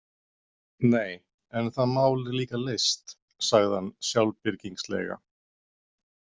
Nei, en það mál er líka leyst, sagði hann sjálfbirgingslega.